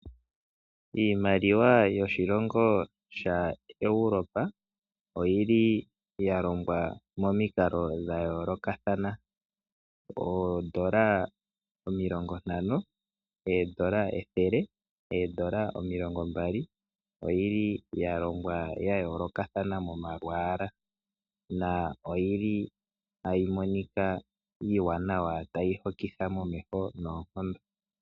Iimaliwa yoshilongo sha Europa oyi li ya longwa momikalo dha yoolokathana. Oondola omilongo ntano, oondola ethele, oondola omilongo mbali. Oyi li ya longwa ya yoolokathana momalwaala. Na oyi li tayi monika iiwanawa tayi hokitha momeho noonkondo.